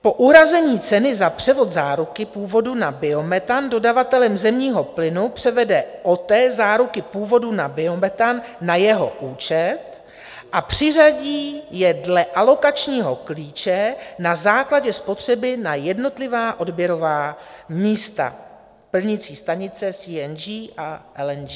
Po uhrazení ceny za převod záruky původu na biometan dodavatelem zemního plynu převede OTE záruky původu na biometan na jeho účet a přiřadí je dle alokačního klíče na základě spotřeby na jednotlivá odběrová místa plnicí stanice CNG a LNG.